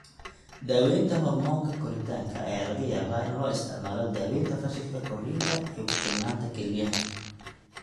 Daawaynta hoormoonka koritaanka ayaa laga yaabaa in loo isticmaalo daawaynta fashilka korriinka iyo ku filnaanta kelyaha.